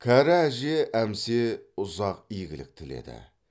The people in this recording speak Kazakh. кәрі әже әмсе ұзақ игілік тіледі